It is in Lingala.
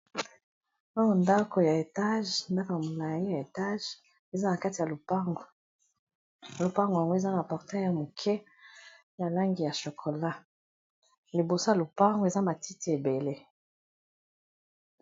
oyo ndako ya etage ndako molaaye ya etage eza na kati ya lupango lupango yango eza na portee ya moke ya langi ya chokola liboso a lupango eza matiti ebele